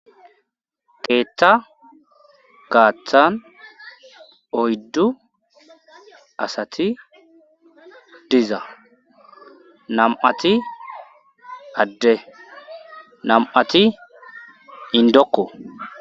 keeththa gaaththan oyddu asati diza nam7ati adde nam7ati indokko